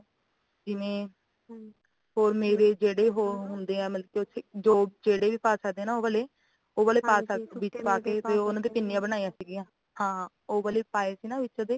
ਜਿਵੇਂ ਹੱਮ ਮੇਰੇ ਜਿਹੜੇ ਉਹੋ ਹੁੰਦੇ ਆ ਜੋ ਮੇਵੇ ਜਿਹੜੇ ਹੋਰ ਹੁੰਦੇ ਆ ਮਲਕੀ ਜਿਹੜੇ ਵੀ ਪਾ ਸਕਦੇ ਉਹ ਵਾਲੇ ਉਹ ਵਾਲੇ ਪਾ ਸਕਦੇ ਆ ਵਿਚ ਪਾ ਕੇ ਪਿੰਨੀਆਂ ਬਣਾਈਆਂ ਸੀਗਿਆ ਹਾਂ ਉਹ ਵਾਲੇ ਪਾਏ ਸੀਗੇ ਨਾ ਓਦੇ